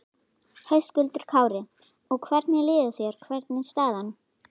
Höskuldur Kári: Og hvernig líður þér, hvernig er staðan?